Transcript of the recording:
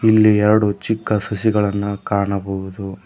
ಇಲ್ಲಿ ಎರಡು ಚಿಕ್ಕ ಸಸಿಗಳನ್ನ ಕಾಣಬಹುದು.